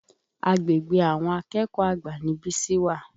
Agbègbè àwọn akẹ́kọ̀ọ́ àgbà ni Bísí wà.